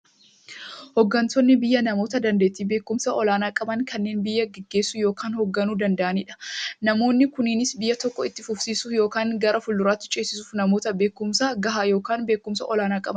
Hooggantoonni biyyaa namoota daandeettiifi beekumsa olaanaa qaban, kanneen biyya gaggeessuu yookiin hoogganuu danda'aniidha. Namoonni kunis, biyya tokko itti fufsiisuuf yookiin gara fuulduraatti ceesisuuf, namoota beekumsa gahaa yookiin beekumsa olaanaa qabaniidha.